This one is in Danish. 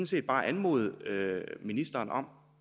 set bare anmode ministeren om